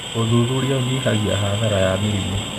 ũthuthuria ũnyihagia hathara ya mĩrimũ.